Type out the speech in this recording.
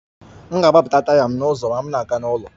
M ga-agbapụta taya m n'ụzọ m na-aga n'ụlọ